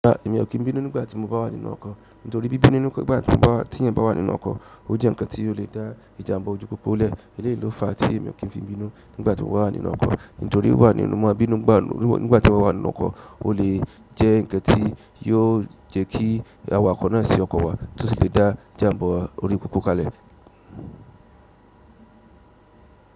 Èmi ò kin bínú nígbà tí mo bá wà nínú ọkàn nítorí bí bínú nigbá tí eyan bá wà nínú ọkọ̀, ó jẹ́ ǹkan tí ó lè dá ìjàmbá ojú pópó lẹ̀. Eléyìí ló fa tí èmi ò kí ń fi bínú nígbà tí mo bá wà nínú ọkọ̀. Nítorí tí mo bá ń bínú nígbàtí èyàn bá wà nínú ọkọ̀ ole jẹ́ n kan tí yó jẹ́ kí awakọ̀ na sí ọkọ̀ wa, òsì lè dá ìjàǹbá ojupopo kalẹ̀.